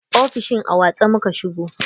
Ofishin a watse muka shigo.